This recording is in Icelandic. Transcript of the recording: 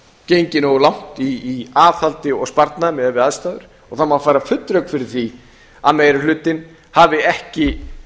gengið nógu langt í aðhaldi og sparnaði miðað við aðstæður það má færa full rök fyrir því að meiri hlutinn hafi ekki